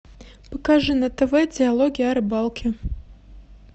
покажи на тв диалоги о рыбалке